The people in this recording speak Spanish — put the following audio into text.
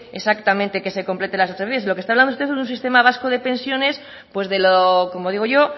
exactamente que completen las transferencias de lo que está hablando usted es de un sistema vasco de pensiones pues de lo como digo yo